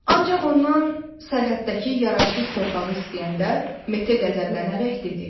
Ancaq ondan sərhəddəki yararsız torpağı istəyəndə Mete qəzəblənərək dedi: